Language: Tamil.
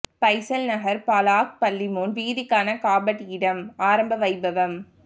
பைசல் நகர் பலாஹ் பள்ளி முன் வீதிக்கான காபட் இடும் ஆரம்ப வைபவம்